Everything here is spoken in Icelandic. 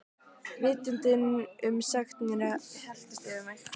Vitundin um sekt mína helltist yfir mig.